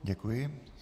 Děkuji.